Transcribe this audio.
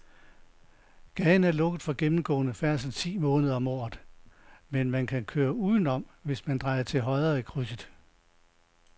Gaden er lukket for gennemgående færdsel ti måneder om året, men man kan køre udenom, hvis man drejer til højre i krydset.